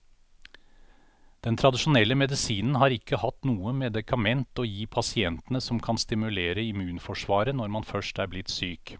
Den tradisjonelle medisinen har ikke hatt noe medikament å gi pasientene som kan stimulere immunforsvaret når man først er blitt syk.